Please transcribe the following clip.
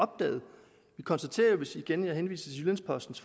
konstatere hvis jeg igen må henvise til jyllands postens